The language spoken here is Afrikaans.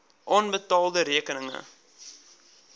onbetaalde rekeninge